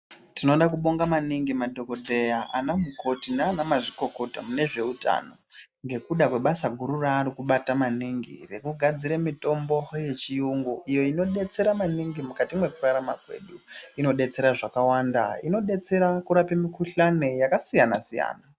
Tinoda kubonga maningi madhogodheya ana mukoti nana mazvikokota mune zveutano. Nekuda kwebasa guru ravari kubata maningi rekugadzire mitombo yechiyungu iyo inobetsera maningi mukati mwekurarama kwedu. Inobetsera zvakawanda inobetsera kurapa mikuhlani yakasiyana-siyana.